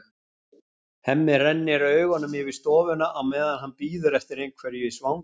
Hemmi rennir augunum yfir stofuna á meðan hann bíður eftir einhverju í svanginn.